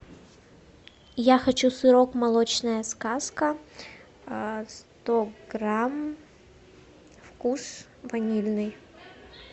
я хочу сырок молочная сказка сто грамм вкус ванильный